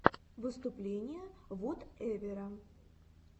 выступление вотэвера